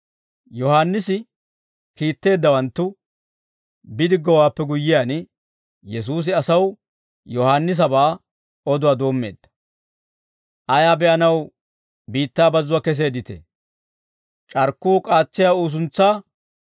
Yohaannisi kiitteeddawanttu bidiggowaappe guyyiyaan Yesuusi asaw Yohaannisabaa oduwaa doommeedda: «Ayaa be'anaw biittaa bazzuwaa keseedditee? C'arkkuu k'aatsiyaa uusuntsaa?